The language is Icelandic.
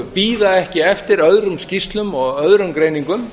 bíða ekki eftir öðrum skýrslum og öðrum greiningum